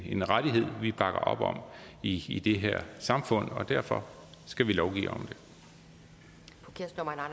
en rettighed vi bakker op om i i det her samfund og derfor skal vi lovgive om det